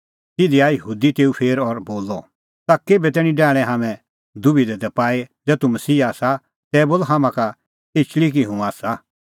तिधी आऐ यहूदी तेऊ फेर और बोलअ ताह केभै तैणीं डाहणैं हाम्हैं दबिधा दी पाई ज़ै तूह मसीहा आसा तै बोल हाम्हां का एचल़ी कि हुंह आसा